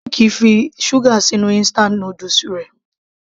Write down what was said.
Nick fi sugar sí inú instant noodles rẹ̀.